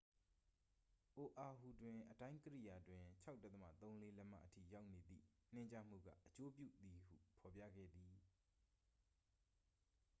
"အိုအာဟူတွင် အတိုင်းကိရိယာတွင် ၆.၃၄ လက်မအထိ ရောက်နေသည့် နှင်းကျမှုက "အကျိုးပြု" သည်ဟု ဖော်ပြခဲ့သည်။